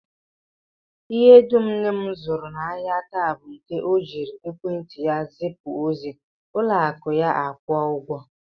Ihe dum nne m zụrụ n'ahịa taa bụ nke ọ jiri ekwentị ya zipụ ozi, ụlọakụ ya akwụọ ụgwọ